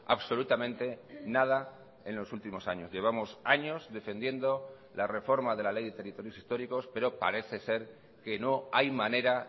absolutamente nada en los últimos años llevamos años defendiendo la reforma de la ley de territorios históricos pero parece ser que no hay manera